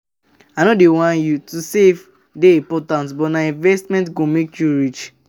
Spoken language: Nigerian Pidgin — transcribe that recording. I no whine you, to save dey important but nah investment go make you rich.